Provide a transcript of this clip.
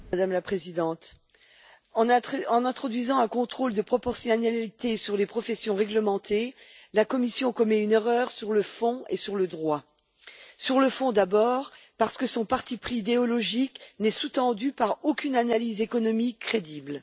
Madame la Présidente, en introduisant un contrôle de proportionnalité sur les professions réglementées, la Commission commet une erreur sur le fond et sur le droit. Sur le fond, d'abord, parce que son parti pris idéologique n'est sous tendu par aucune analyse économique crédible.